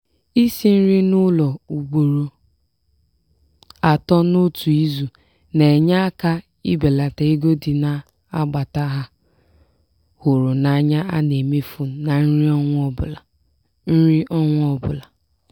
isi nri n'ụlọ ugboro atọ n'otu izu na-enye aka ibelata ego dị n'agbata a hụrụ anya a na-emefu na nri ọnwa ọbụla. nri ọnwa ọbụla.